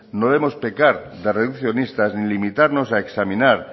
no debemos pecar de ni de limitarnos a examinar